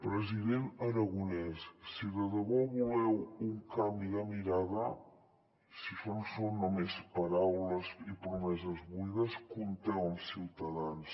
president aragonès si de debò voleu un canvi de mirada si això no són només paraules i promeses buides compteu amb ciutadans